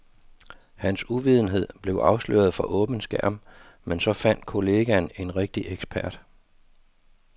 Hans uvidenhed blev afsløret for åben skærm, men så fandt kollegaen en rigtig ekspert.